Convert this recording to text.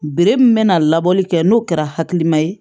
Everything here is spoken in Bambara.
min bɛna labɔli kɛ n'o kɛra hakilima ye